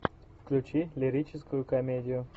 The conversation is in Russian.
включи лирическую комедию